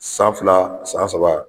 San fila, san saba.